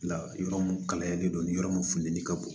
La yɔrɔ mun kalayalen don nin yɔrɔ mun funteni ka bon